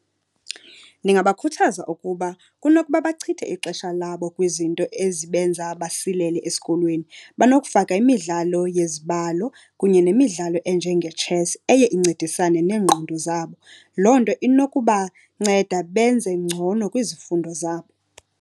Ndingabakhuthaza ukuba kunokuba bachithe ixesha labo kwizinto ezibenza basilele esikolweni, banokufaka imidlalo yezibalo kunye nemidlalo enjengetshesi eye incedisane neengqondo zabo. Loo nto inokubanceda benze ngcono kwizifundo zabo.